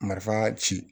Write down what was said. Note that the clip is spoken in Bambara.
Marifa ci